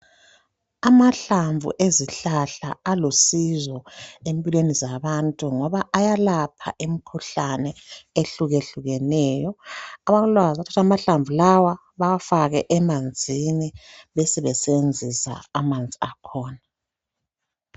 Amahlamvu ezihlahla alusizo empilweni zabantu ngoba ayelapha imikhuhlane ehlukehlukeneyo abalolwazi bayathatha amahlamvu lawa bewafake emanzini besebenzisa amanzi akhona.